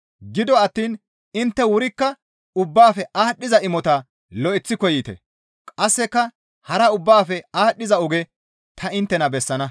Gido attiin intte wurikka ubbaafe aadhdhiza imota lo7eththi koyite. Qasseka hara ubbaafe aadhdhiza oge ta inttena bessana.